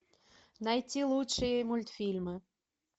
найти лучшие мультфильмы